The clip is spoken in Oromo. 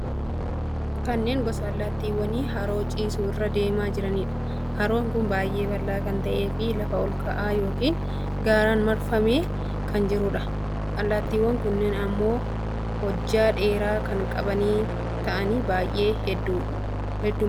Kunneen gosa allaattiiwwanii haroo ciisu irra deemaa jiraniidha. Haroo kun baay'ee bal'aa kan ta'eefi lafa ol ka'aa yookiin gaaraan marfamee kan jiruudha. Allaattiiwwan kunneen immoo hojjaa dheeraa kan qaban ta'anii, baay'ee heddummatu.